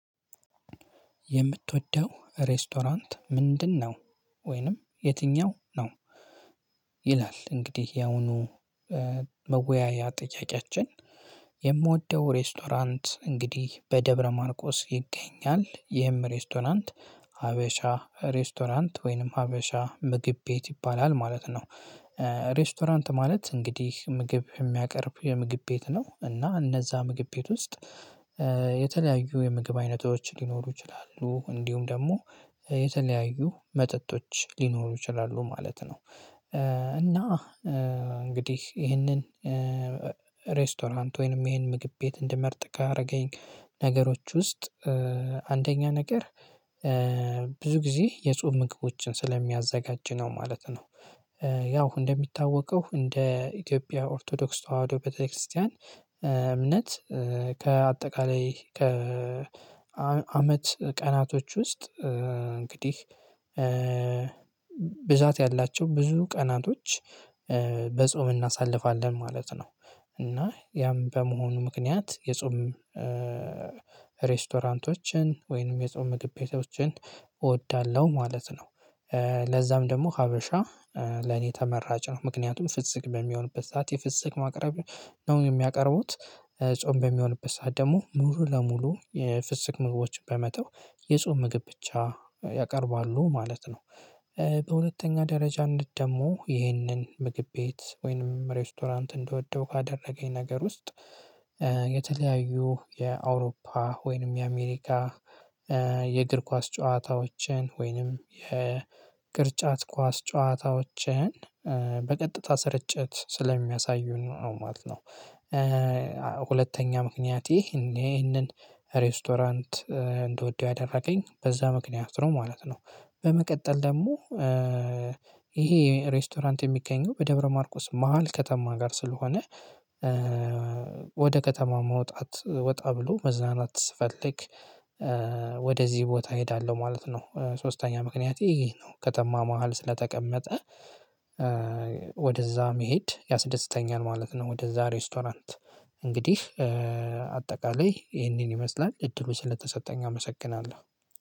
የምትወደው ሬስቶራንት ምንድን ነው ወይንም የትኛው ነው? ይላል እንግዲህ ያሁኑ መወያያ ጥያቄያችን የምወደው ሬስቶራንት እንግዲህ በደብረ ማርቆስ ይገኛል ይህም ሬስቶራንት ሀበሻ ሬስቶራንት ወይንም ሀበሻ ምግብ ቤት ይባላል ማለት ነው። ሬስቶራንት ማለት እንግዲህ ምግብ ሚያቀርብ የምግብ ቤት ነው እና እነዛ ምግብ ቤት ውስጥ የተለያዩ የምግብ አይነቶች ሊኖሩ ይችላሉ እንዲሁም ደግሞ የተለያዩ መጠጦች ሊኖሩ ይችላሉ ማለት ነው። እና እንግዲህ ይህንን ሬስቶራንት ወይንም ይሄን ምግብ ቤት እንድመርጥ ካረገኝ ነገሮች ውስጥ አንደኛ ነገር ብዙ ጊዜ የጾም ምግቦችን ስለሚያዘጋጅ ነው ማለት ነው። ያው እንደሚታወቀው እንደ ኢትዮጵያ ኦርቶዶክስ ተዋህዶ ቤተክርስቲያን እምነት ከአጠቃላይ ከአመት ቀናቶች ውስጥ እንግዲህ ብዛት ያላቸው ብዙ ቀናቶች በጾም እናሳልፋለን ማለት ነው። እና ያም በመሆኑ ምክንያት የጾም ሬስቶራንቶችን ወይንም የጾም ምግብ ቤቶችን እወዳለሁ ማለት ነው። ለዛም ደግሞ ሀበሻ ለኔ ተመራጭ ነው ምክንያቱም ፍስክ በሚሆንበት ሰዓት የፍስክ ማቅረብ ነው የሚያቀርቡት ጾም በሚሆንበት ሰዓት ደግሞ ሙሉ ለሙሉ የፍስክ ምግቦችን በመተው የጾም ምግብ ብቻ ያቀርባሉ ማለት ነው። በሁለተኛ ደረጃነት ደግሞ ይህንን ምግብ ቤት ወይንም ሬስቶራንት እንደወደው ካደረገኝ ነገር ውስጥ የተለያዩ የአውሮፓ ወይንም የአሜሪካ የእግር ኳስ ጨዋታዎችን ወይንም የቅርጫት ኳስ ጨዋታዎችን በቀጥታ ስርጭት ስለሚያሳዩን ነው ማለት ነው። ሁለተኛ ምክንያቴ ይሄንን ሬስቶራንት እንድወደው ያደረገኝ በዛ ምክንያት ነው ማለት ነው። በመቀጠል ደግሞ ይሄ ሬስቶራንት የሚገኘው በደብረ ማርቆስ መሃል ከተማ ጋር ስለሆነ ወደ ከተማ መውጣት ወጣ ብሎ መዝናናት ስፈልግ ወደዚህ ቦታ እሄዳለሁ ማለት ነው። ሶስተኛ ምክንያት ይሄ ነው ከተማ መሃል ስለተቀመጠ ወደዛ መሄድ ያስደስተኛል ማለት ነው። ወደዛ ሬስቶራንት እንግዲህ አጠቃላይ ይሄንን ይመስላል እድሉ ስለተሰጠኝ አመሰግናለሁ።